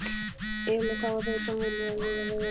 Yfirleitt hafa þeir samvinnu við veiðarnar.